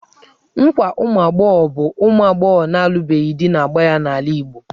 Nkwa ụmụ agbọghọ bụ ụmụ agbọghọ na-alụbeghị di na-agba ya n'omenala Igbo.